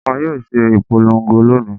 Wọ́n yóò ṣe ìpolongo lónìí.